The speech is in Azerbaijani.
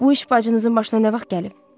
Bu iş bacınızın başına nə vaxt gəlib?